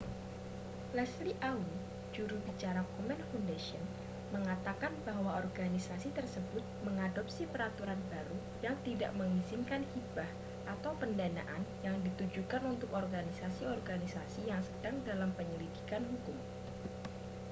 leslie aun juru bicara komen foundation mengatakan bahwa organisasi tersebut mengadopsi peraturan baru yang tidak mengizinkan hibah atau pendanaan yang ditujukan untuk organisasi-organisasi yang sedang dalam penyelidikan hukum